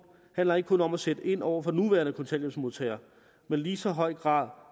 handler ikke kun om at sætte ind over for nuværende kontanthjælpsmodtagere men i lige så høj grad